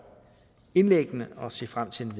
indlæggene og ser frem til